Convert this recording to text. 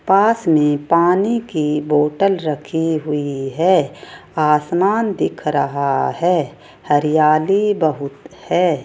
पास में पानी की बॉटल रखी हुई है आसमान दिख रहा है हरियाली बहुत है।